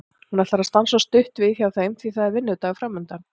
Hún ætlar að stansa stutt við hjá þeim því að það er vinnudagur framundan.